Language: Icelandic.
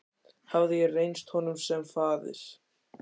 Hafði ég reynst honum sem faðir?